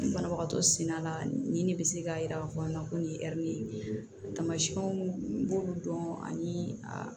Banabagatɔ senda la ani ne bɛ se k'a jira k'a fɔ ko nin ye tamasiyɛnw b'olu dɔn ani a